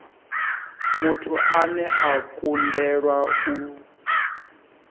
muthu ane a kundelwa u